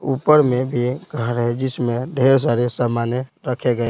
ऊपर में भी घर है जिसमें ढेर सारे सामान रखे गए--